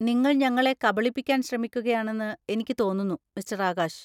നിങ്ങൾ ഞങ്ങളെ കബളിപ്പിക്കാൻ ശ്രമിക്കുകയാണെന്ന് എനിക്ക് തോന്നുന്നു മിസ്റ്റർ ആകാശ്.